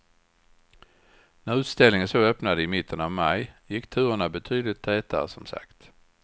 När utställningen så öppnade i mitten av maj gick turerna betydligt tätare som sagt.